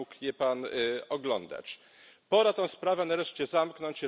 Sam mógł je Pan oglądać. Pora tę sprawę nareszcie zamknąć.